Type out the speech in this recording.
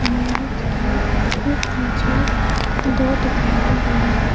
इमारत के ठीक नीचे दो दुकाने भी हैं।